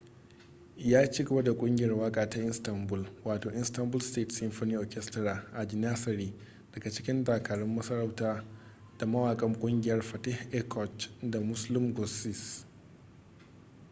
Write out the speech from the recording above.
ya cigaba da kungiyar waka ta istanbul wato istanbul state symphony orchestra a janissary daga cikin dakarun masarauta da mawakan kungiyar fatih erkoç da müslüm gürses